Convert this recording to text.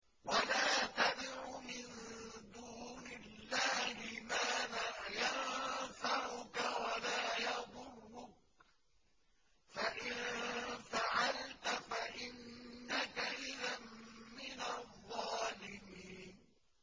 وَلَا تَدْعُ مِن دُونِ اللَّهِ مَا لَا يَنفَعُكَ وَلَا يَضُرُّكَ ۖ فَإِن فَعَلْتَ فَإِنَّكَ إِذًا مِّنَ الظَّالِمِينَ